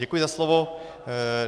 Děkuji za slovo.